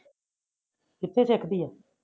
ਕਿਥੇ ਸਿੱਖਦੀ ਆ?